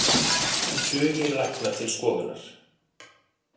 Tugir lækna til skoðunar